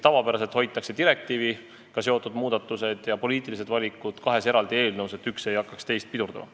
Tavapäraselt hoitakse direktiiviga seotud muudatused ja poliitilised valikud kahes eraldi eelnõus, et üks ei hakkaks teist pidurdama.